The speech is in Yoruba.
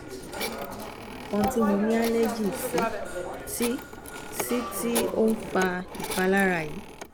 emi o mo ikan ti mo ni allergy si ti si ti o n fa ipalara yi